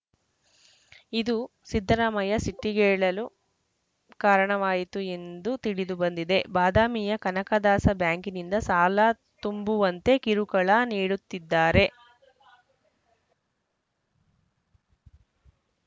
ಇದು ಸಿದ್ದರಾಮಯ್ಯ ಸಿಟ್ಟಿಗೇಳಲು ಕಾರಣವಾಯಿತು ಎಂದು ತಿಳಿದುಬಂದಿದೆ ಬಾದಾಮಿಯ ಕನಕದಾಸ ಬ್ಯಾಂಕಿನಿಂದ ಸಾಲ ತುಂಬುವಂತೆ ಕಿರುಕುಳ ನೀಡುತ್ತಿದ್ದಾರೆ